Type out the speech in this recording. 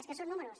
és que són números